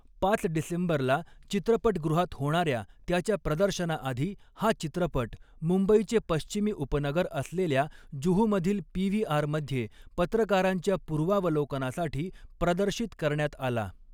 पाच डिसेंबरला चित्रपटगृहात होणाऱ्या त्याच्या प्रदर्शनाआधी हा चित्रपट, मुंबईचे पश्चिमी उपनगर असलेल्या जुहूमधील पीव्हीआरमध्ये पत्रकारांच्या पूर्वावलोकनासाठी प्रदर्शित करण्यात आला.